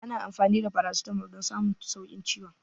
Ana amfani da farasitamol don samun sauƙin ciwon